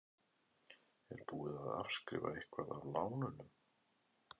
Er búið að afskrifa eitthvað af lánunum?